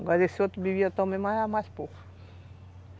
Agora esse outro bebia também, mas era mais pouco.